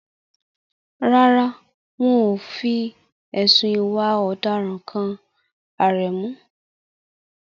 Rárá, wọn ò fi ẹ̀sùn ìwà ọ̀daràn kan Aremu.